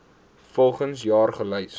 volgens jaar gelys